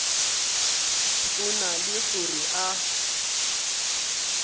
go na le gore a